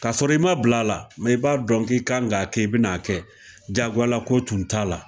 K 'a sɔrɔ i ma bila a la, mɛ i b'a dɔn k'i kan ka kɛ i bɛna a kɛ jagoya tun t'a la!